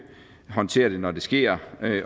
håndtere det når det sker